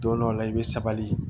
Don dɔw la i bɛ sabali